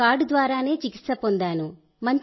నేను కార్డు ద్వారానే చికిత్స పొందాను